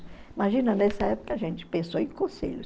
Imagina, nessa época a gente pensou em conselhos.